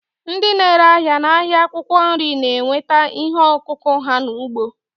Ndị na-ere ahịa n'ahịa akwụkwọ nri na-enweta ihe ọkụkụ ha n'ugbo.